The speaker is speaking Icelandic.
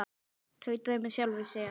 Tauta með sjálfri mér.